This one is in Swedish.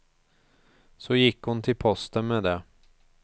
Så gick hon till posten med det.